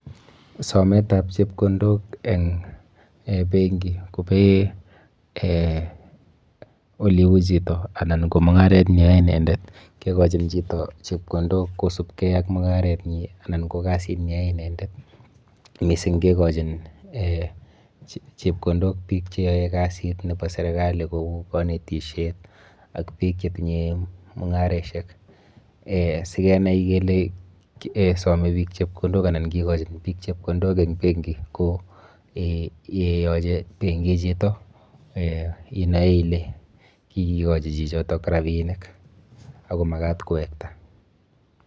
Sometab chepkondok eng um benki ko bee um ole uu chito anan ko mung'aret ne yoe inendet, kikochin chito chepkondok kosupkei ak mung'arenyi anan ko kasit ne yoe inendet, mising kikochin um chepkondok piik che yoe kasit nebo Serikali kou kanetisiet ak piik chetinye mung'aresiek. um Sikenai kele some piik chepkondok anan kikochin piik chepkondok eng benki, ko ye yoche benki chito um inoe ile kikikochi chichoto rabiinik ak komakat kowekta.